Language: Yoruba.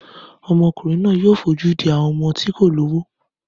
Ọmọkùnrin náà yóò fojú di àwọn ọmọ tí kò lówó.